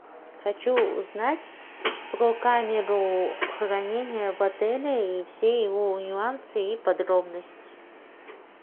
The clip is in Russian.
хочу узнать про камеру хранения в отеле и все его нюансы и подробности